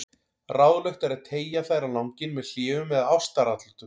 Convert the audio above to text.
Ráðlegt er að teygja þær á langinn með hléum eða ástaratlotum.